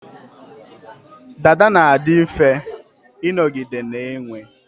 Dada na-adi mfe ịnọgide na-enwe